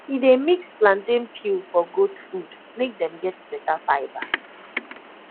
he dey mix plantain peel for goat food make dem get better fibre